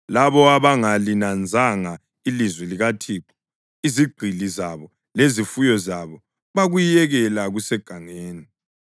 Labo abangalinanzanga ilizwi likaThixo izigqili zabo lezifuyo zabo bakuyekela kusegangeni.